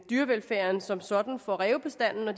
dyrevelfærden som sådan for rævebestanden og